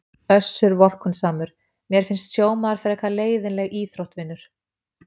Össur vorkunnsamur:- Mér finnst sjómaður frekar leiðinleg íþrótt vinur.